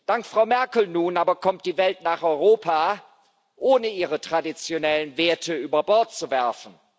Dank Frau Merkel nun aber kommt die Welt nach Europa, ohne ihre traditionellen Werte über Bord zu werfen.